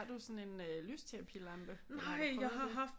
Har du sådan en øh lysterapilampe eller har du prøvet det